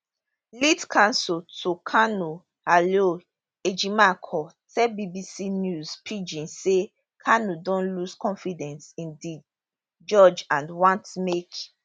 lead counsel to kanu aloy ejimakor tell bbc news pidgin say kanu don lose confidence in di judge and want make